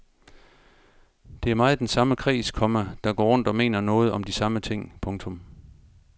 Det er meget den samme kreds, komma der går rundt og mener noget om de samme ting. punktum